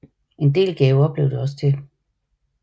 En del gaver blev det også til